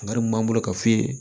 Nka mun b'an bolo k'a f'i ye